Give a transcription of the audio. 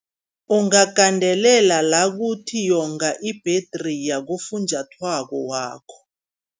Ungagandelela la kuthi yonga ibhedriya, kufunjathwako wakho.